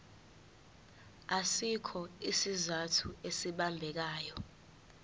asikho isizathu esibambekayo